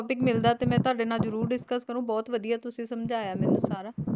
topic ਮਿਲਦਾ ਤੇ ਮੈਂ ਤੁਹਾਡੇ ਨਾਲ ਜਰੂਰ discuss ਕਰੂੰ ਬਹੁਤ ਵਧੀਆ ਤੁਸੀ ਸਮਝਾਇਆ ਮੈਨੂੰ ਸਾਰਾ